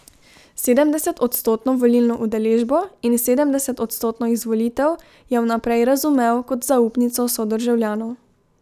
Sedemdesetodstotno volilno udeležbo in sedemdesetodstotno izvolitev je vnaprej razumel kot zaupnico sodržavljanov.